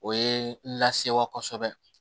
O ye n lasewa kosɛbɛ